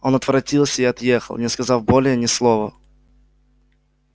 он отворотился и отъехал не сказав более ни слова